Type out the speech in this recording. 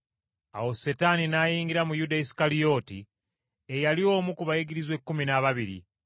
Awo Setaani n’ayingira mu Yuda Isukalyoti eyali omu ku bayigirizwa ekkumi n’ababiri,